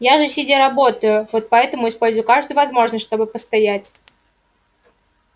я же сидя работаю вот поэтому использую каждую возможность чтобы постоять